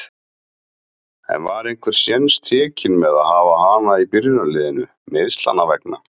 En var einhver séns tekinn með að hafa hana í byrjunarliðinu, meiðslanna vegna?